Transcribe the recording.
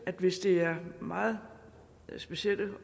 at hvis det er meget specielle